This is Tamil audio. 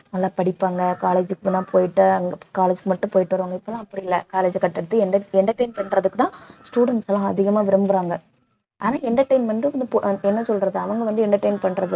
நல்லா படிப்பாங்க college க்கு போனா போயிட்டு அங்க college மட்டும் போயிட்டு வருவாங்க இப்ப எல்லாம் அப்படி இல்லை college அ cut அடிச்சிட்டு entertain பண்றதுக்குதான் students எல்லாம் அதிகமாக விரும்புறாங்க ஆனா entertainment வந்து இப்ப என்ன சொல்றது அவங்க வந்து entertain பண்றது